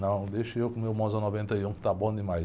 Não, deixa eu com o meu Monza noventa e um que está bom demais.